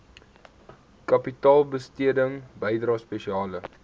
kapitaalbesteding bydrae spesiale